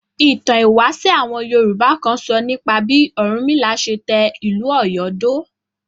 Ìtàn ìwáṣẹ̀ àwọn Yorùbá kan sọ nípa bí Ọ̀rúnmìlà ṣe tẹ ìlú Ọ̀yọ́ dó.